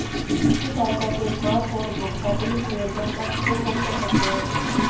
इसकी सहायता से स्मार्ट फोन उपभोक्ता पुलिस नियंत्रण कक्ष को फोन कर सकते हैं